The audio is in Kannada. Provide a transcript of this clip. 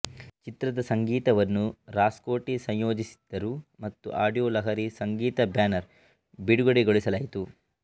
ಚಿತ್ರದ ಸಂಗೀತವನ್ನು ರಾಜ್ಕೋಟಿ ಸಂಯೋಜಿಸಿದ್ದರು ಮತ್ತು ಆಡಿಯೋ ಲಹರಿ ಸಂಗೀತ ಬ್ಯಾನರ್ ಬಿಡುಗಡೆಗೊಳಿಸಲಾಯಿತು